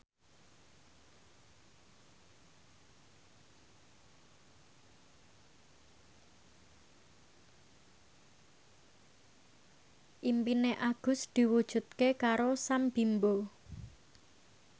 impine Agus diwujudke karo Sam Bimbo